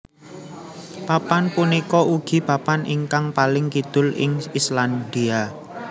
Papan punika ugi papan ingkang paling kidul ing Islandia